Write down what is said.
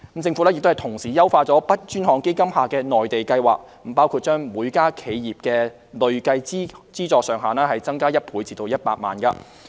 政府亦同時優化 BUD 專項基金下的"內地計劃"，包括把每家企業的累計資助上限增加1倍至100萬元。